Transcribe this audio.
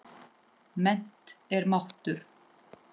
Mennt er máttur.